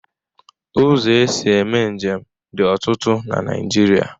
Ụzọ e si eme njem dị ọtụtụ na Naịjirịa.